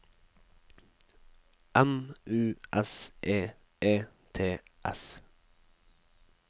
M U S E E T S